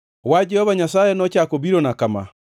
Wach Jehova Nyasaye nochako obirona kama: